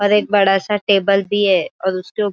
यह एक चर्च है यहाँ पर --